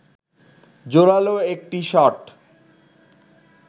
জোরালো একটি শট